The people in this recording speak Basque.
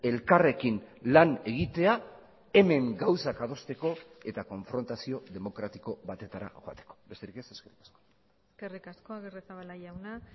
elkarrekin lan egitea hemen gauzak adosteko eta konfrontazio demokratiko batetara joateko besterik ez eskerrik asko eskerrik asko agirrezabala jauna